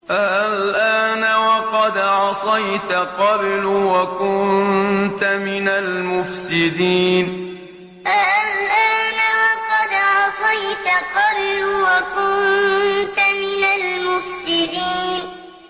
آلْآنَ وَقَدْ عَصَيْتَ قَبْلُ وَكُنتَ مِنَ الْمُفْسِدِينَ آلْآنَ وَقَدْ عَصَيْتَ قَبْلُ وَكُنتَ مِنَ الْمُفْسِدِينَ